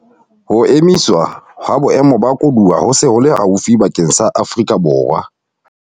Ho emiswa ha Boemo ba Koduwa ho se ho le haufi bakeng sa Afrika Borwa